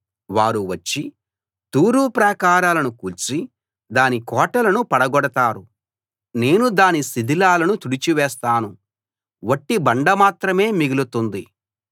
వారు వచ్చి తూరు ప్రాకారాలను కూల్చి దాని కోటలను పడగొడతారు నేను దాని శిథిలాలను తుడిచివేస్తాను వట్టి బండ మాత్రమే మిగులుతుంది